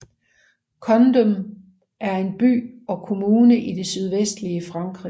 Condom er en by og kommune i det sydvestlige Frankrig